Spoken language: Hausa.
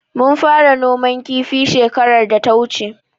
Mun fara noman kifi shekarar da ta wuce.